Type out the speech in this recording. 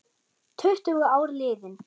Tuttugu ár liðin.